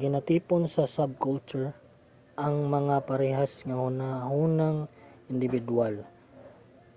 ginatipon sa subculture ang mga parehas nga hunahunang indibidwal